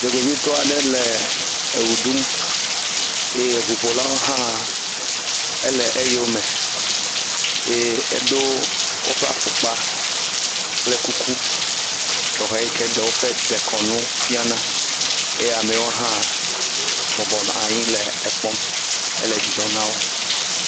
Dzogbedzitɔ aɖe le ewo ɖum eye eŋuƒola hã, ele eyome eye eɖo woƒe afɔkpa kple kuku tɔxɛ yi ke ɖe woƒe dekɔnu fiana eye amewo hã bɔbɔ nɔ anyi le ekpɔm hele dzidzɔ na wo.